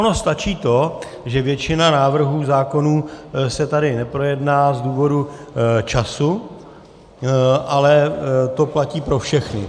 Ono stačí to, že většina návrhů zákonů se tady neprojedná z důvodu času, ale to platí pro všechny.